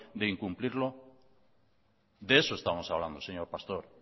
de incumplirlo de eso estamos hablando señor pastor